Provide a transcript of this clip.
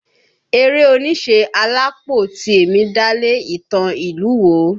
Eré oníṣe Alápó Tìẹ̀mì dálé ìtàn ìlú wo?